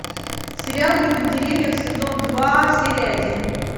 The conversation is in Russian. сериал люди в деревьях сезон два серия один